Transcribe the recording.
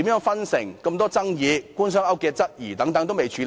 加上眾多爭議、對官商勾結的質疑等也有待處理。